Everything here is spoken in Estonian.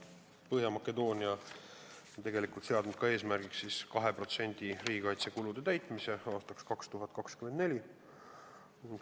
Põhja-Makedoonia on seadnud eesmärgiks, et aastaks 2024 oleksid riigikaitsekulud 2% SKP-st.